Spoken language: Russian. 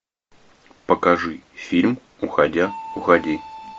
покажи фильм уходя уходи